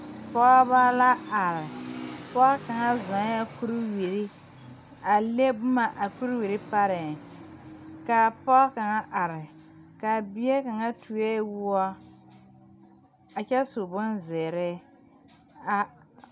Pɔgeba la are pɔge kaŋ zɔɔŋ kuriwiri a le boma a kuriwiri pareŋ kaa pɔɔ kaŋa are kaa bie kaŋa tuo woɔ a kyɛ su bonzeere a